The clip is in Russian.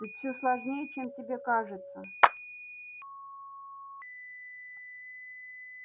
тут всё сложнее чем тебе кажется